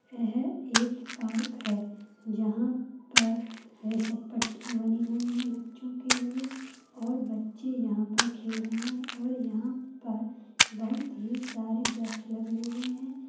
यह एक पार्क है जहां पर पट्टियां बनी हुई हैं बच्‍चों के लिए और बच्चे यहाँ पर खेल रहे हैं और यहाँ पर बहोत ही सारे व्रक्क्ष लगे हुए हैं।